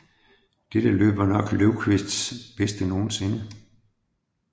Dette løb var nok Lövkvists bedste nogensinde